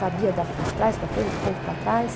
Sabia da de trás para frente, de frente para trás.